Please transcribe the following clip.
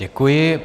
Děkuji.